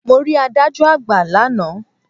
Mo rí adájọ́ àgbà lánàá.